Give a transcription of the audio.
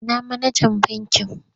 Ina manajan bankin?